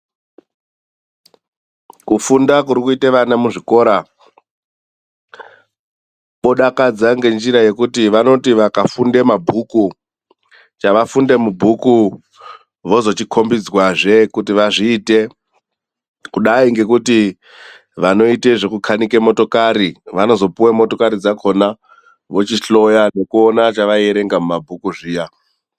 Kufunda kuri kuita ana muzvikora kodakadza ngenjira yekuti vanoti vakafunda mabhuku chavafunda mubhuku vozochikombedzwazve kuti vazviite kudai ngekuti vanoita zvekukanika motokari vanozopuwa motokari dzakhona vochihloya zvavaierenga mumabhuku zviya.